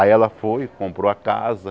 Aí ela foi, comprou a casa.